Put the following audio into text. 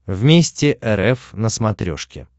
вместе рф на смотрешке